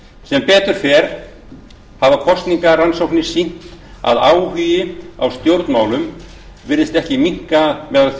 sem betur fer hafa kosningarannsóknir sýnt að áhugi á stjórnmálum virðist ekki minnka meðal